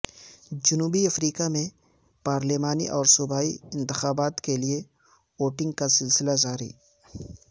جنوبی افریقہ میں پارلیمانی اور صوبائی انتخابات کیلئے ووٹنگ کا سلسلہ جاری